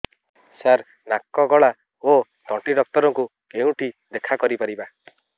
ସାର ନାକ ଗଳା ଓ ତଣ୍ଟି ଡକ୍ଟର ଙ୍କୁ କେଉଁଠି ଦେଖା କରିପାରିବା